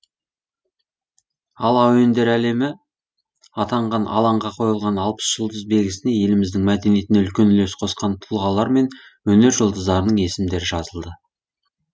ал әуендер әлемі атанған алаңға қойылған алпыс жұлдыз белгісіне еліміздің мәдениетіне үлкен үлес қосқан тұлғалар мен өнер жұлдыздарының есімдері жазылды